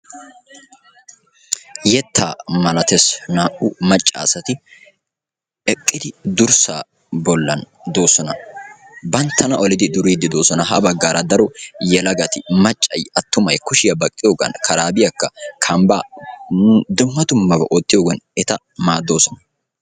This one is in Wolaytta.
Yettaa malatees. Naa"u macca asti eqqidi durssaa bollan de'oosona. Banttana olidi duriiddi de'oosona. Ha baggaara daro yelagati maccay attumay kushiya baqqiyoogan karaabiyakka kambba dumma dummaba oottiyogan eta maaddoosona.